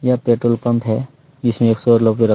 यह petrol pump है इसमें सब लोग पूरा --